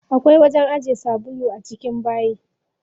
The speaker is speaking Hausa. Akwai wajen ajiye sabulu a cikin bayi.